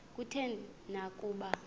kutheni na ukuba